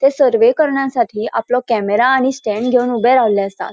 ते सर्वे करण्यासाठी ते आपलों कैमेरा आणि स्टैन्ड गेवन ऊबे रावल्ले आसात.